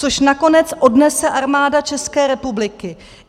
Což nakonec odnese Armáda České republiky.